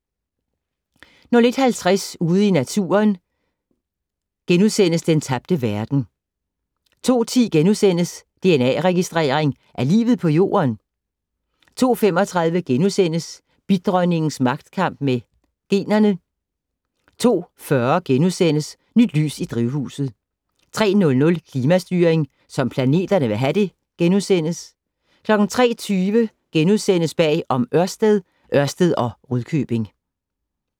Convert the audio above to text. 01:50: Ude i Naturen - Den tabte verden * 02:10: Dna-registrering af livet på Jorden? * 02:35: Bidronningens magtkamp med generne * 02:40: Nyt lys i drivhuset * 03:00: Klimastyring som planterne vil have det * 03:20: Bag om Ørsted - Ørsted og Rudkøbing *